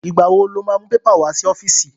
Ìgbà wo lo má mú pépà wá sí ọ́fíìsì?